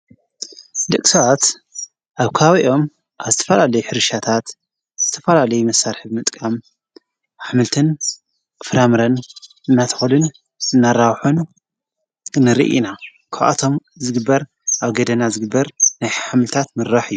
ድግሳት ኣብ ካዊኦም ብተፈላለይ ኅርሻታት ዝተፈላለይ መሳርሕብ ምጥቃም ኣኃምልትን ክፍራምርን ማትኮድን ዘናራሖኑ ንርኢ ኢና ኰዓቶም ዝግበር ኣብ ገደና ዝግበር ናይኃምልታት ምራሕ እዩ።